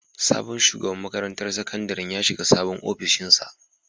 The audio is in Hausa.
Sabon shugaban makarantar sakandaren ya shiga sabon ofishinsa.